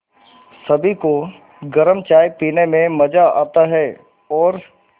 सभी को गरम चाय पीने में मज़ा आता है और